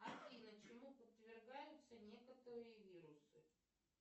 афина чему подвергаются некоторые вирусы